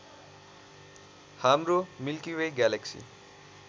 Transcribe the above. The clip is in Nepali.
हाम्रो मिल्की वे ग्यालेक्सी